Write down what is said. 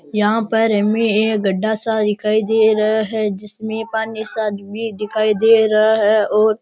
यहाँ पर हमें एक गड़ा सा दिखाई दे रहा है जिसमे पानी सा भी दिखाई दे रहा है और --